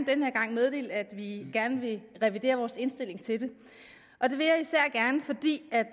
den her gang meddele at vi gerne vil revidere vores indstilling til det og det